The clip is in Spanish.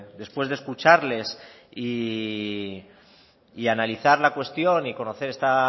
después de escucharles y de analizar la cuestión y conocer esta